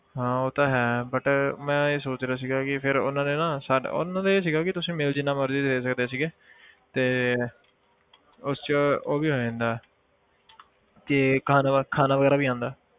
ਹਾਂ ਉਹ ਤਾਂ ਹੈ but ਮੈਂ ਇਹ ਸੋਚ ਰਿਹਾ ਸੀਗਾ ਕਿ ਫਿਰ ਉਹਨਾਂ ਨੇ ਨਾ ਸਾਡਾ ਉਹਨਾਂ ਦੇ ਇਹ ਸੀਗਾ ਕਿ ਤੁਸੀਂ meal ਜਿੰਨਾ ਮਰਜ਼ੀ ਲੈ ਸਕਦੇ ਸੀਗੇ ਤੇ ਉਸ 'ਚ ਉਹ ਵੀ ਹੋ ਜਾਂਦਾ ਕਿ ਖਾਣਾ ਖਾਣਾ ਵਗ਼ੈਰਾ ਵੀ ਆਉਂਦਾ